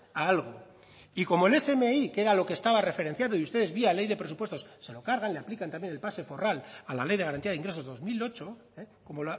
a algo y como el smi que era lo que estaba referenciado y ustedes vía ley de presupuestos se lo cargan le aplican también el pase forral a la ley de garantía de ingresos dos mil ocho como